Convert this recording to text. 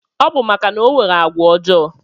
Ọbu maka na onwere agwa ojo